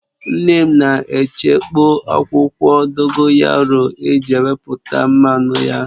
Nne m na echekpọ̀ akwụkwọ dogoyaru eji wepụta mmanụ ya